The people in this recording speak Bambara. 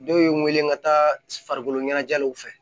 Dɔw ye n weele ka taa farikolo ɲɛnajɛw fɛ